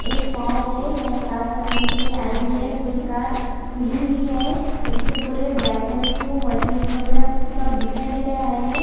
एक कार है शायद कार सर्विसिंग के लिए आई हुई है पूरी कार खुली हुई है उसके पूरे ब्लैक कलर के वो मशीन वगैरा सब दिखाई दे रहा है।